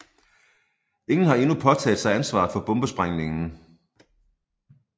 Ingen har endnu påtaget sig ansvaret for bombesprængningen